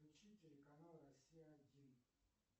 включи телеканал россия один